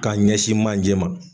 K'a ɲɛsin manje ma